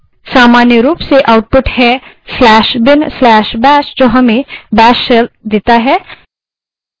सामान्य रूप से output है/bin/bash जो हमें bash shell देता है